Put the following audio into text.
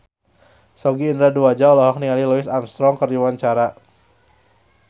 Sogi Indra Duaja olohok ningali Louis Armstrong keur diwawancara